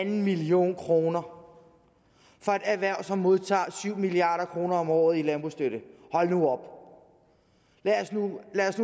en million kroner for et erhverv som modtager syv milliard kroner om året i landbrugsstøtte hold nu op lad os nu